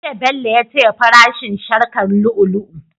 Jiya Bello ya taya fara shin sharkar lu'u lu'u